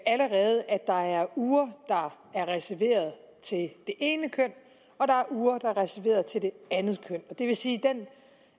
der er uger der er reserveret til det ene køn og der er uger der er reserveret til det andet køn det vil sige